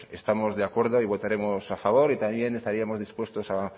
estamos de acuerdo y votaremos a favor y también estaríamos dispuesto a